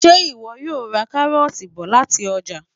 Ṣé ìwọ yóò ra káróọ̀ti bọ̀ lati ọ́jà?